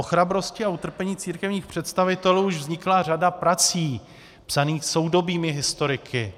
O chrabrosti a utrpení církevních představitelů již vznikla řada prací psaných soudobými historiky.